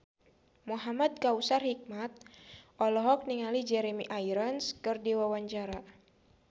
Muhamad Kautsar Hikmat olohok ningali Jeremy Irons keur diwawancara